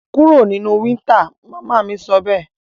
Kúro nínú winter! mama mí sọbẹ́ẹ̀